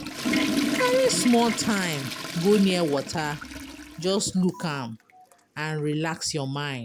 Carry small time go near water, just look am and relax your mind.